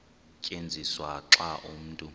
tyenziswa xa umntu